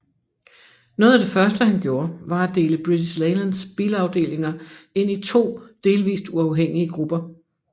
Noget af det første han gjorde var at dele British Leylands bilafdelinger ind i to delvis uafhængige grupper